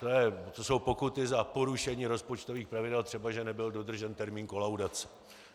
To jsou pokuty za porušení rozpočtových pravidel, třeba že nebyl dodržen termín kolaudace.